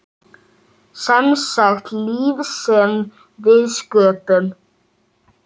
Semsagt líf sem við sköpum.